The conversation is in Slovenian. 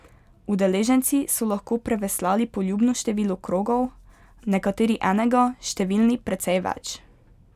Udeleženci so lahko preveslali poljubno število krogov, nekateri enega, številni precej več.